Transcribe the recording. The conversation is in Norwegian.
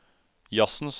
jazzens